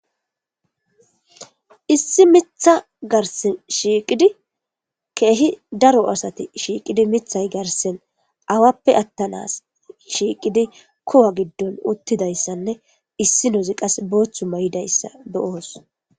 Issi miththa garissen shiqqiddi kehi Daro asati shiqqid miththayi garissanni awappe atanas shiqqiddi kuwa giddon uttidayisane issinozzi qasi boththu mayidayissa uttidayissa be'os.